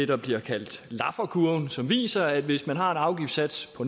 der bliver kaldt lafferkurven som viser at hvis man har en afgiftssats på